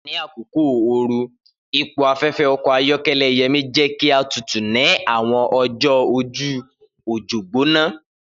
Ni akoko ooru, ipo afẹfẹ ọkọ ayọkẹlẹ Yemi jẹ ki a tutu ni awọn ọjọ oju ojo gbona.